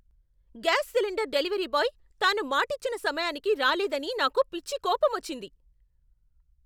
Gas cylinder delivery boy తాను మాటిచ్చిన సమయానికి రాలేదని నాకు పిచ్చి కోపమొచ్చింది.